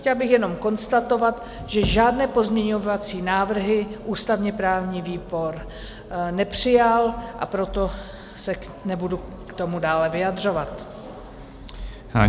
Chtěla bych jenom konstatovat, že žádné pozměňovací návrhy ústavně-právní výbor nepřijal, a proto se nebudu k tomu dále vyjadřovat.